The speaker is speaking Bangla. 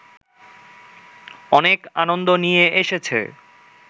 অনেক আনন্দ নিয়ে এসেছে